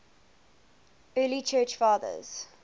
early church fathers